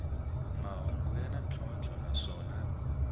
mahungu ya na ntlhontlho naswona